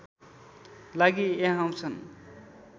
लागि यहाँ आउछन्